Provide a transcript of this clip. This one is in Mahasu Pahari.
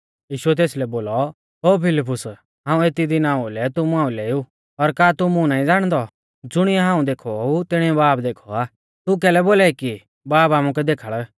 यीशुऐ तेसलै बोलौ ओ फिलिप्पुस हाऊं एती दिना ओउलै तुमु आइलै ऊ और का तू मुं नाईं ज़ाणदौ ज़ुणिऐ हाऊं देखौ ऊ तिणीऐ बाब देखौ आ तू कैलै बोलाई कि बाब आमुकै देखाल़